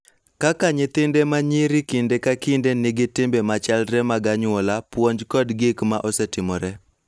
Kaka nyithinde ma nyiri kinde ka kinde nigi timbe machalre mag anyuola, puonj kod gik ma osetimore.